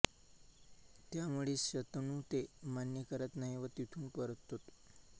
त्यामुळे शंतनू ते मान्य करत नाही व तिथून परततो